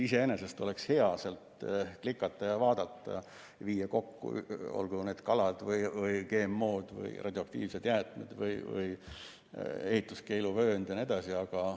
Iseenesest oleks hea seal klikata ja vaadata, viia kokku, olgu need kalad, GMO‑d, radioaktiivsed jäätmed, ehituskeeluvööndid vms.